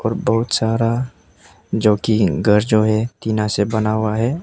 बहुत सारा जो कि घर जो है टीना से बना हुआ है।